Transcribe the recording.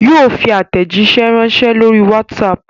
Yóò fi aàtẹ̀jíṣé ránsẹ́ lórí WhatsApp